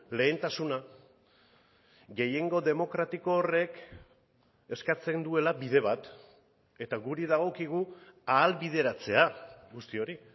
lehentasuna gehiengo demokratiko horrek eskatzen duela bide bat eta guri dagokigu ahalbideratzea guzti hori